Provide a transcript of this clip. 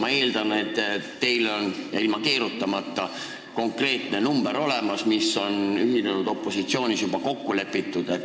Ma eeldan, et teil on – ja ilma keerutamata – olemas konkreetne arv, mis on ühinenud opositsioonis juba kokku lepitud.